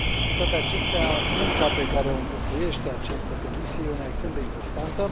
Cu toate acestea, munca pe care o înfăptuiește această comisie este una extrem de importantă.